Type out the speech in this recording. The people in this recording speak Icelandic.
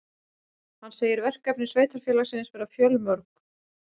Hann segir verkefni sveitarfélagsins vera fjölmörg